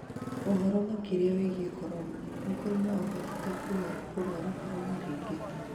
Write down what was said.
ũhoro makĩrĩa wĩgiĩ Korona: Nĩkũrĩ na ũhotekeku wa kũrwara Korona rĩngĩ?